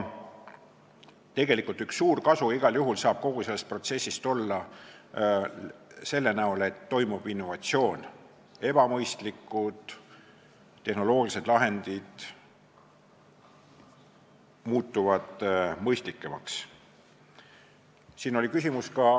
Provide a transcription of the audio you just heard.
Tegelikult saab üks suur kasu igal juhul kogu sellest protsessist olla selline, et toimub innovatsioon ning ebamõistlikud tehnoloogilised lahendid muutuvad mõistlikumaks.